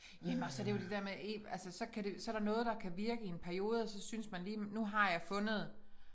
Jamen og så det jo det der med altså så kan det så der noget der kan virke i en periode og så synes man lige nu har jeg fundet